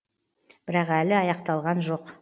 бірақ әлі аяқталған жоқ